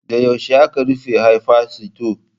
Da yaushe ake rufe Hayfa sito?